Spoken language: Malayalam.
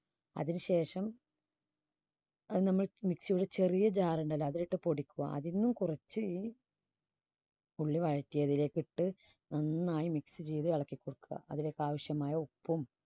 അതിന് ശേഷം അത് നമ്മൾ mixie ിയിലെ ചെറിയ jar ുണ്ടല്ലോ അതിൽ ഇട്ട് പൊടിക്കുക അതിൽ നിന്നും കുറച്ച് full വഴറ്റിയതിലേക്ക് ഇട്ട് നന്നായി mix ചെയ്ത് ഇളക്കികൊടുക്കുക. അതിലേക്ക് ആവശ്യമായ ഉപ്പും